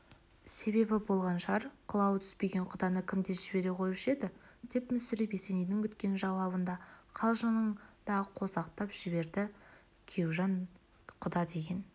себебі болған шығар қылауы түспеген құданы кім тез жібере қоюшы еді деп мүсіреп есенейдің күткен жауабын да қалжыңын да қосақтап жіберді күйеужан құда деген